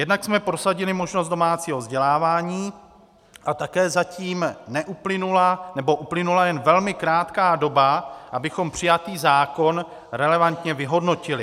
Jednak jsme prosadili možnost domácího vzdělávání a také zatím neuplynula, nebo uplynula jen velmi krátká doba, abychom přijatý zákon relevantně vyhodnotili.